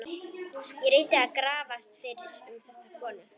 Ég reyndi að grafast fyrir um þessa konu.